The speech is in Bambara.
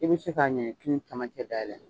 I bi se ka ɲɛɲɛkini cɛmancɛ dayɛlɛ